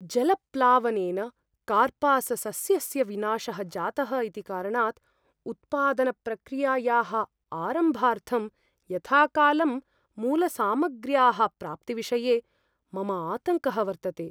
जलप्लावनेन कार्पाससस्यस्य विनाशः जातः इति कारणात्, उत्पादनप्रक्रियायाः आरम्भार्थं यथाकालं मूलसामग्र्याः प्राप्तिविषये मम आतङ्कः वर्तते।